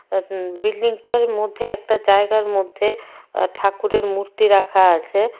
বিল্ডিংটার মধ্যে একটা জায়গার মধ্যে আ ঠাকুরের মূর্তি রাখা আছে।